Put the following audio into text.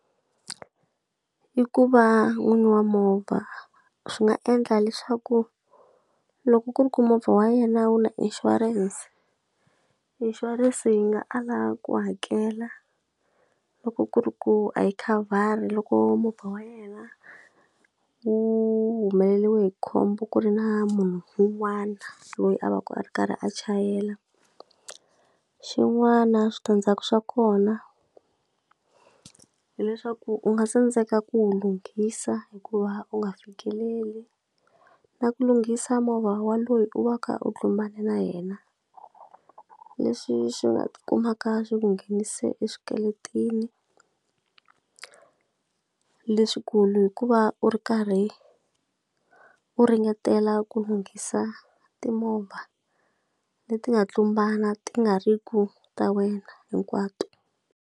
I ku va n'wini wa movha, swi nga endla leswaku loko ku ri ku movha wa yena wu na inshurense, inshurense yi nga ala ku hakela loko ku ri ku a yi khavhari loko movha wa yena wu humeleriwe hi khombo ku ri na munhu un'wana loyi a va a ri karhi a chayela. Xin'wana switandzhaku swa kona, hileswaku u nga tsandzeka ku wu lunghisa hikuva u nga fikeleli, na ku lunghisa movha wa loyi u va ka u tlumbane na yena. Leswi swi nga ti kumaka swi nghenise eswikweletini leswikulu hikuva u ri karhi u ringetela ku lunghisa timovha leti nga tlumbana ti nga ri ku ta wena hinkwato.